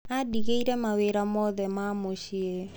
Aandĩgĩire mawĩra mothe ma mũciĩ.